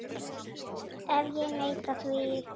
Og ef ég neita því?